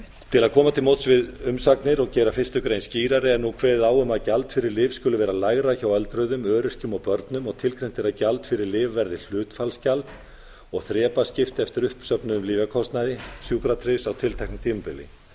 til að koma til móts við umsagnir og gera fyrstu grein skýrari er nú kveðið á um að gjald ári lyf skuli ár lægra hjá öldruðum öryrkjum og börnum og tilgreint er að gjald fyrir lyf verði hlutfallsgjald og þrepaskipt eftir uppsöfnuðum lyfjakostnaði sjúkratryggðs á tilteknu tímabili enn